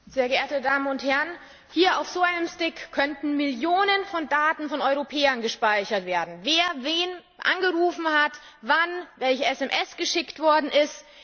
Herr Präsident, sehr geehrte Damen und Herren! Hier auf so einem Stick könnten Millionen von Daten von Europäern gespeichert werden Wer wen angerufen hat, wann, welche SMS geschickt worden ist.